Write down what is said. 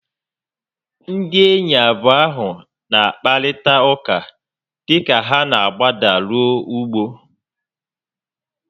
Ndị enyi abụọ ahu n'akparịta ụka dịka ha n'agbada ruo ugbo